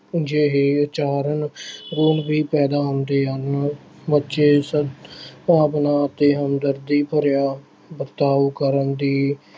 ਜਿਹੇ ਆਚਰਨ ਗੁਣ ਵੀ ਪੈਦਾ ਹੁੰਦੇ ਹਨ, ਬੱਚੇ ਇਸ ਭਾਵਨਾ ਅਤੇ ਹਮਦਰਦੀ ਭਰਿਆ ਵਰਤਾਓ ਕਰਨ ਦੀ